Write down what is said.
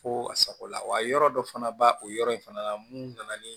Fo a sago la wa yɔrɔ dɔ fana ba o yɔrɔ in fana la mun nana ni